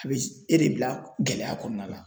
A bɛ e de bila gɛlɛya kɔnɔna la.